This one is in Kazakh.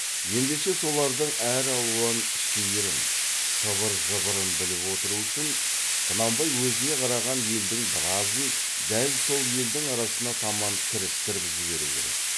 ендеше солардың әралуан шиырын сыбыр жыбырын біліп отыру үшін құнанбай өзіне қараған елдің біразын дәл сол елдің арасына таман кірістіріп жіберу керек